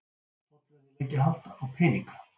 Tollverðir leggja hald á peninga